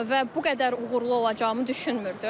Və bu qədər uğurlu olacağımı düşünmürdüm.